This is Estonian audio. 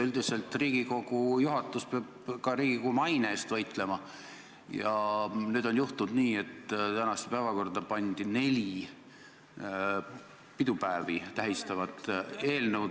Üldiselt peab Riigikogu juhatus ka Riigikogu maine eest võitlema ja nüüd on juhtunud nii, et tänasesse päevakorda on pandud neli pidupäevi tähistavat eelnõu.